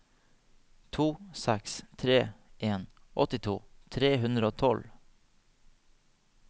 to seks tre en åttito tre hundre og tolv